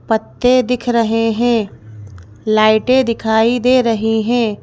पत्ते दिख रहे हैं लाइटें दिखाई दे रही हैं।